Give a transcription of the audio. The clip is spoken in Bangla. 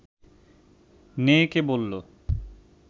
নেয়েকে বলল